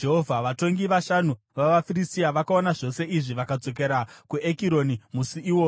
Vatongi vashanu vavaFiristia vakaona zvose izvi vakadzokera kuEkironi musi iwoyo.